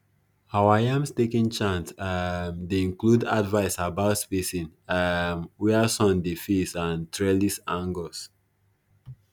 our yam staking chant um dey include advice about spacing um where sun dey face and trellis angles